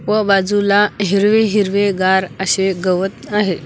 व बाजूला हिरवे हिरवेगार असे गवत आहे.